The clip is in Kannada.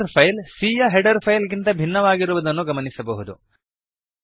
ಹೆಡರ್ ಫೈಲ್ c ಯ ಹೆಡರ್ ಫೈಲ್ ಗಿಂತ ಭಿನ್ನವಾಗಿರುವುದನ್ನು ಗಮನಿಸಬಹುದು